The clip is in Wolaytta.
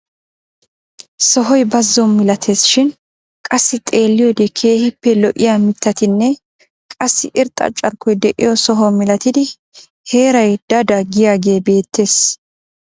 Sohoy bazo milates shin qassi xeelliyoode keehippe lo"iyaa mittatinne qassi irxxa carkkoy de'iyo soho milattidi heeray da da giyaagee beettees.